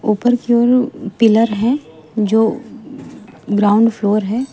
ऊपर की ओर पिलर है जो ग्राउंड फ्लोर है।